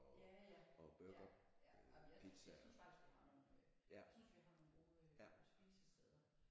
Ja ja ja ja jamen jeg synes faktisk vi har nogle jeg synes vi har nogle gode øh spisesteder